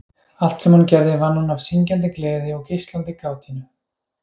Allt sem hún gerði vann hún af syngjandi gleði og geislandi kátínu.